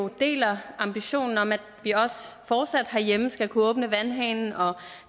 deler ambitionen om at vi også fortsat herhjemme skal kunne åbne vandhanen og